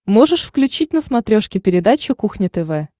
можешь включить на смотрешке передачу кухня тв